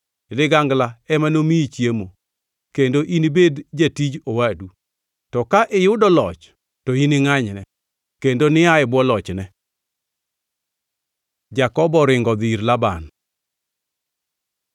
Ligangla ema nomiyi chiemo kendo inibed jatij owadu. To ka iyudo loch to iningʼanyne, kendo nia e bwo lochne.” Jakobo oringo odhi ir Laban